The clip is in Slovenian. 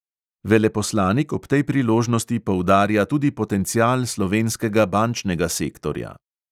Veleposlanik ob tej priložnosti poudarja tudi potencial slovenskega bančnega sektorja.